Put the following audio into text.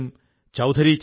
ഇദ്ദേഹമാണ് പൊൻ മാരിയപ്പൻ